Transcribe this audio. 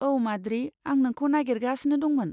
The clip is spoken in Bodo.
औ, माद्रि, आं नोंखौ नागेरगासिनो दंमोन।